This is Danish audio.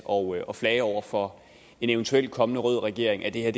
og og flage over for en eventuelt kommende rød regering at det er